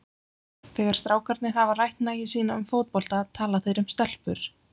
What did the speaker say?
Þegar strákarnir hafa rætt nægju sína um fótbolta tala þeir um stelpur.